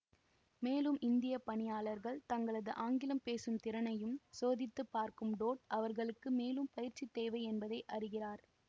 மேலும் இந்திய பணியாளர்கள் தங்களது ஆங்கிலம் பேசும் திறனையும் சோதித்து பார்க்கும் டோட் அவர்களுக்கு மேலும் பயிற்சி தேவை என்பதை அறிகிறார்